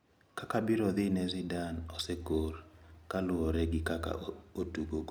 Kaka birodhine Zidane osekor kaluwore gi kaka otugogo.